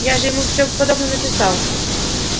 я же ему всё подробно написал